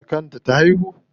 Da kan ta ta haihu?